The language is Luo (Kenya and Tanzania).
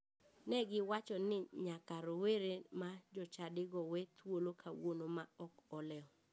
Ne giwacho ni nyaka rowere ma jochadigo we thuolo kawuono ma ok olewo.